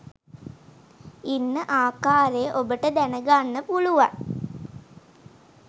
ඉන්න ආකාරය ඔබට දැක ගන්න පුළුවන්